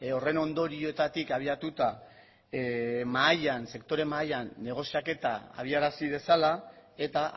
horren ondorioetatik abiatuta mahaian sektore mahaian negoziaketa abiarazi dezala eta